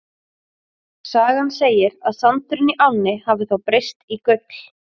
Sagan segir að sandurinn í ánni hafi þá breyst í gull.